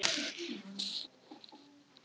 Nú verða margir kennarar, hver með sína námsgrein.